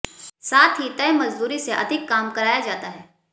साथ ही तय मजदूरी से अधिक काम कराया जाता है